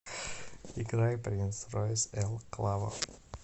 играй принс ройс эл клаво